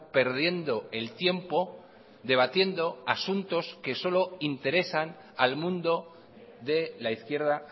perdiendo el tiempo debatiendo asuntos que solo interesan al mundo de la izquierda